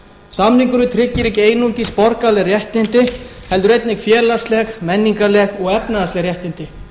samningurinn tryggir ekki einungis borgaraleg réttindi heldur einnig félagsleg menningarleg og efnahagsleg réttindi